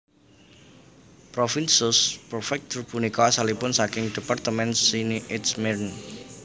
Provins sous préfecture punika asalipun saking département Seine et Marne